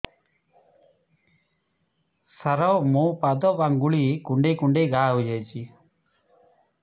ସାର ମୋ ପାଦ ଆଙ୍ଗୁଳି କୁଣ୍ଡେଇ କୁଣ୍ଡେଇ ଘା ହେଇଯାଇଛି